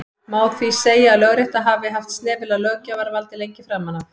má því segja að lögrétta hafi haft snefil af löggjafarvaldi lengi framan af